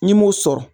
N'i m'o sɔrɔ